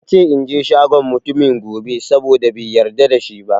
Yace inje shagon mutumin gobe, saboda bai yarda da shi ba